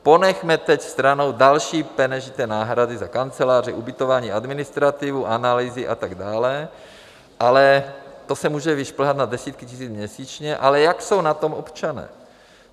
Ponechme teď stranou další peněžité náhrady za kanceláře, ubytování, administrativu, analýzy a tak dále, ale - to se může vyšplhat na desítky tisíc měsíčně - ale jak jsou na tom občané.